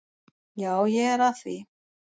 Já, ég er að því.